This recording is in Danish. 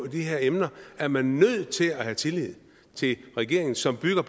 de her emner er man nødt til at have tillid til regeringen som bygger